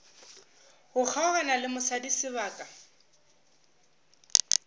go kgaogana le mosadi sebaka